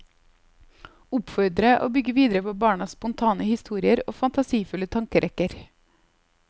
Oppfordre og bygge videre på barnas spontane historier og fantasifulle tankerekker.